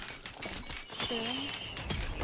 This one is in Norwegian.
sjøen